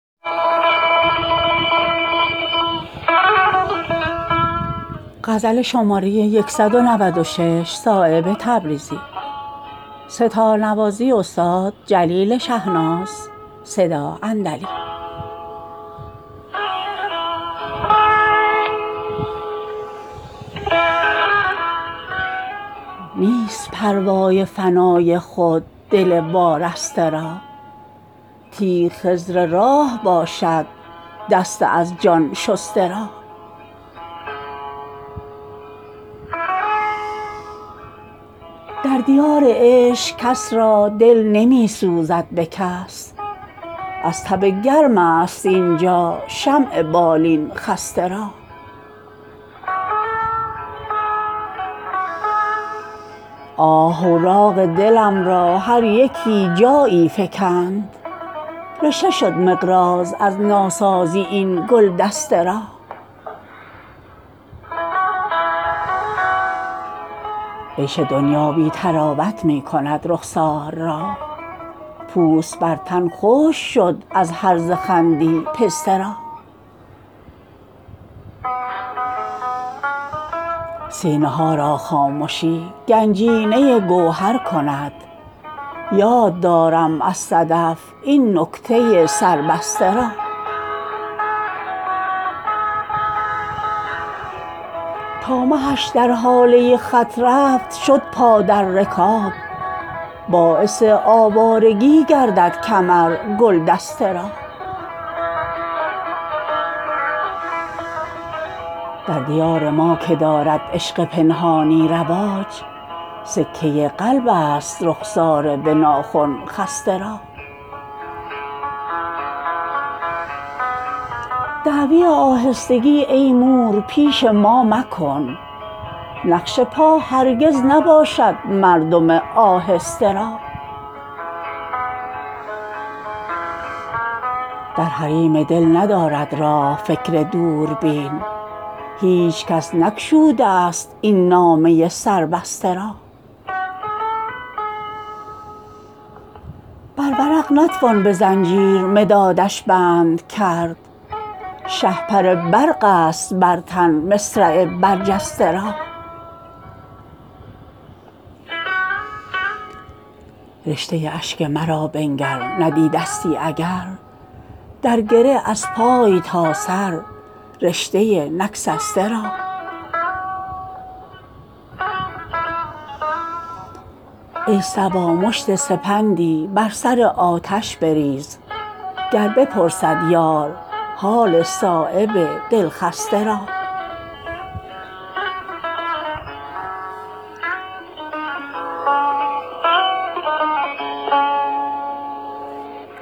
نیست پروای فنای خود دل وارسته را تیغ خضر راه باشد دست از جان شسته را در دیار عشق کس را دل نمی سوزد به کس از تب گرم است اینجا شمع بالین خسته را آه اوراق دلم را هر یکی جایی فکند رشته شد مقراض از ناسازی این گلدسته را عیش دنیا بی طراوت می کند رخسار را پوست بر تن خشک شد از هرزه خندی پسته را سینه ها را خامشی گنجینه گوهر کند یاد دارم از صدف این نکته سر بسته را تا مهش در هاله خط رفت شد پا در رکاب باعث آوارگی گردد کمر گلدسته را در دیار ما که دارد عشق پنهانی رواج سکه قلب است رخسار به ناخن خسته را دعوی آهستگی ای مور پیش ما مکن نقش پا هرگز نباشد مردم آهسته را در حریم دل ندارد راه فکر دوربین هیچ کس نگشوده است این نامه سر بسته را بر ورق نتوان به زنجیر مدادش بند کرد شهپر برق است بر تن مصرع برجسته را رشته اشک مرا بنگر ندیدستی اگر در گره از پای تا سر رشته نگسسته را ای صبا مشت سپندی بر سر آتش بریز گر بپرسد یار حال صایب دلجسته را